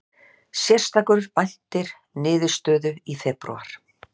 Sérstakur væntir niðurstöðu í febrúar